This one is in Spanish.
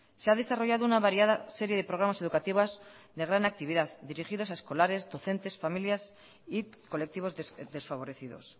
se ha desarrollado una variada serie de programas educativas de gran actividad dirigidas a escolares docentes familias y colectivos desfavorecidos